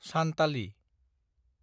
Santali